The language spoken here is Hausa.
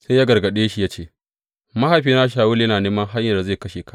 Sai ya gargaɗe shi ya ce, Mahaifina Shawulu yana neman hanyar da zai kashe ka.